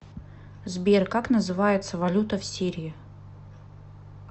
сбер как называется валюта в сирии